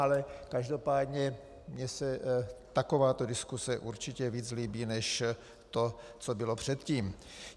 Ale každopádně mně se takováto diskuse určitě víc líbí než to, co bylo předtím.